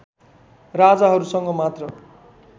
राजाहरूसँग मात्र